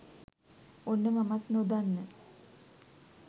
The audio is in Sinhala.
ඔන්න මමත් නොදන්න